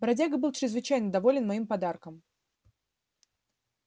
бродяга был чрезвычайно доволен моим подарком